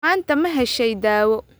Maanta ma heshay daawo?